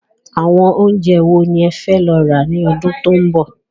Àwọn oúnjẹ wo ni ẹ fẹ́ lọ rà ni ọdún tó ń bọ̀?